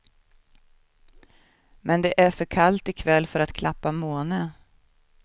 Men det är för kallt ikväll för att klappa måne.